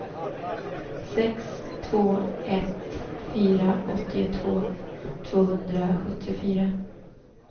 sex två ett fyra åttiotvå tvåhundrasjuttiofyra